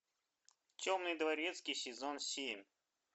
темный дворецкий сезон семь